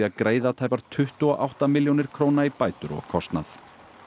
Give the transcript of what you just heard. að greiða tæpar tuttugu og átta milljónir króna í bætur og kostnað